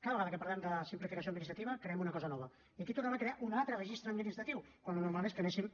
cada vegada que parlem de simplificació administrativa creem una cosa nova i aquí tornem a crear un altre registre administratiu quan el normal és que anéssim